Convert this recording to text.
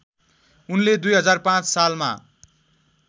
उनले २००५ सालमा